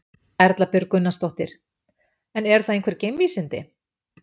Erla Björg Gunnarsdóttir: En eru það einhver geimvísindi?